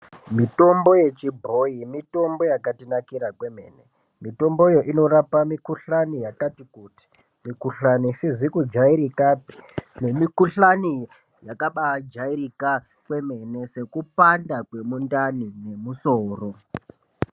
Mitombo yechibhoyi mitombo yakatinakira kwemene. Mitomboyo inorapa mikhuhlani yakati kuti. Mikhuhlani isizi kujairikapi nemikhuhlani yakabaajairika kwemene sekupanda kwemundani nemusoro.